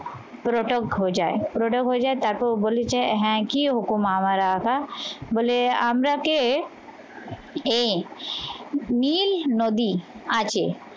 পুরোটা ঘোজায় পুরোটা হয়ে যায় তারপর ও বলেছে হ্যাঁ কি রকম আমার আধা বলে আমরা কে এ নীল নদী আছে।